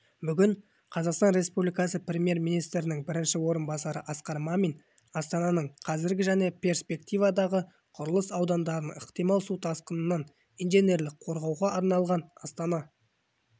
бүгін қазақстан республикасы премьер-министрінің бірінші орынбасары асқар мамин астананың қазіргі және перспективадағы құрылыс аудандарын ықтимал су тасқынынан инженерлік қорғауға арналған астана